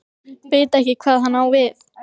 Veit ekki hvað hann á við.